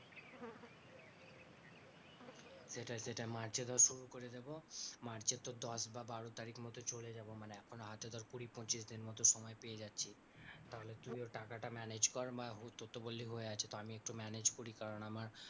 সেটাই সেটাই মার্চে ধর শুরু করে দেবো। মার্চে তোর দশ বা বারো তারিখ মতো চলে যাবো মানে এখনও হাতে ধর কুড়ি পঁচিশ দিন মতো সময় পেয়ে যাচ্ছি, তাহলে তুইও টাকাটা manage কর বা তোর তো বললি হয়ে আছে, তো আমি একটু manage করি কারণ আমার,